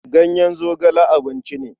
Ganyen zogale abinci ne.